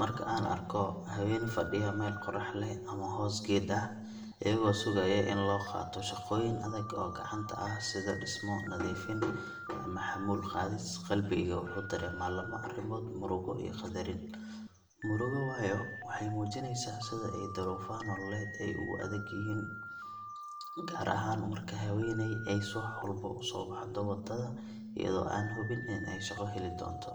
Marka aan arko haween fadhiya meel qorrax leh ama hoos geed ah, iyagoo sugaya in loo qaato shaqooyin adag oo gacanta ah sida dhismo, nadiifin, ama xamuul qaadis, qalbigeyga wuxuu dareemaa laba arrimood murugo iyo qadarin. Murugo waayo waxay muujinaysaa sida ay duruufaha nololeed u adag yihiin, gaar ahaan marka haweeney ay subax walba u soo baxdo waddada iyadoo aan hubin in ay shaqo heli doonto.